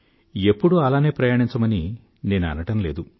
ఎప్పుడూ అలానే ప్రయాణించమని నేను అనడం లేదు